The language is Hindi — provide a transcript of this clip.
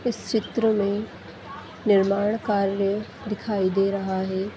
इस चित्र मैनिर्माण कार्य दिखाई दे रहा है।